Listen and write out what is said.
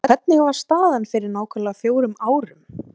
En hvernig var staðan fyrir nákvæmlega fjórum árum?